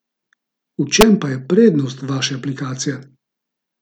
V čem pa je prednost vaše aplikacije?